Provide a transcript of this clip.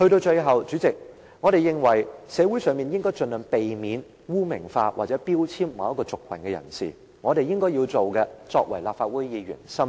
最後，主席，我們認為社會應該盡量避免污名化或標籤某個族群人士，這是我們作為立法會議員應該要做的。